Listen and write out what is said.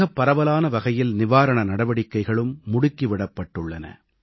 மிகப் பரவலான வகையில் நிவாரண நடவடிக்கைகளும் முடுக்கி விடப்பட்டுள்ளன